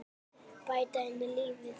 Bæta henni lífið.